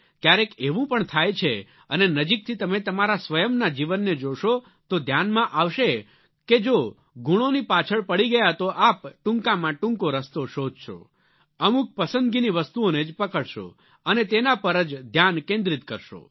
ક્યારેક એવું પણ થાય છે અને નજીકથી તમે તમારા સ્વયંના જીવનને જોશો તો ધ્યાનમાં આવશે કે જો ગુણોઓની પાછળ પડી ગયા તો આપ ટૂંકામાં ટૂંકો રસ્તો શોધશો અમુક પસંદગીની વસ્તુઓને જ પકડશો અને તેના પર જ ધ્યાન કેન્દ્રિત કરશો